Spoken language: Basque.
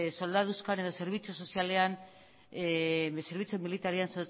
soldaduzkan edo zerbitzu sozialean zerbitzu militarrean